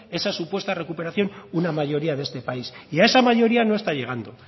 esa supuesta recuperación una mayoría de este país y a esa mayoría no está llegando